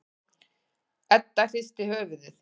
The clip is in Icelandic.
Edda hristir höfuðið.